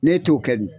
Ne t'o kɛ dun